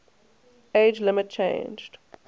age limit changed